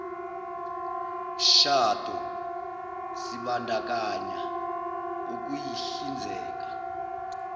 mshado sibandakanya ukuyihlinzeka